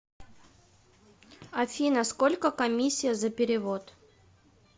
афина сколько комиссия за перевод